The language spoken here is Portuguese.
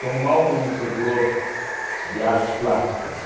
Sou um mau conhecedor de artes plásticas.